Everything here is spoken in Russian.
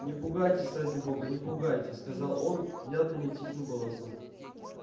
не пугайтесь ради бога не пугайтесь сказал он внятным и тихим голосом